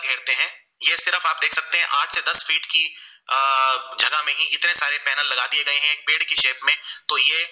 की दस feet की अ जगह में इतने सारे penal लगा दिए गए है एक पेड़ के shape में तो ये